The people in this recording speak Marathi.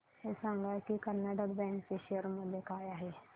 हे सांगा की कर्नाटक बँक चे शेअर मूल्य काय आहे